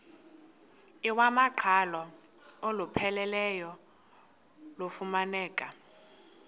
iwamaqhalo olupheleleyo lufumaneka